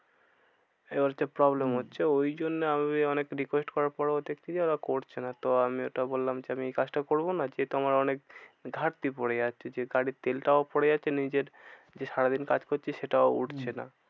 এবারেতে problem হচ্ছে ওই জন্যে আমি অনেক request করার পরেও দেখছি যে ওরা করছে না। তো আমি ওটা বললাম যে আমি এ কাজটা করবো না যেহেতু আমার অনেক ঘটতি পরে যাচ্ছে যে গাড়ির তেলটাও পরে যাচ্ছে নিজের যে সারাদিন কাজ করছি সেটাও উঠছে না।